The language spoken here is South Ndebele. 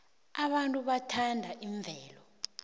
abantu bathanda imvelo